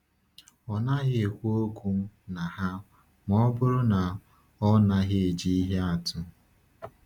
“Ọ naghị ekwu okwu na ha ma ọ bụrụ na ọ naghị eji ihe atụ.”